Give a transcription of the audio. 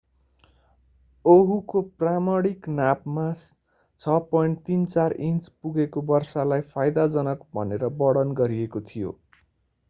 ओहुको प्रमाणिक नापमा 6.34 इन्च पुगेको वर्षालाई फाइदाजनक भनेर वर्णन गरिएको थियो